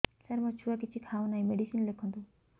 ସାର ମୋ ଛୁଆ କିଛି ଖାଉ ନାହିଁ ମେଡିସିନ ଲେଖନ୍ତୁ